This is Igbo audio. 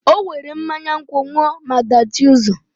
O were mmanya nkwu ṅụọ maa dachie ụzọ.